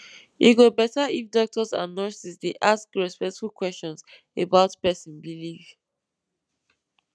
e go better if doctors and nurses dey ask respectful questions about person belief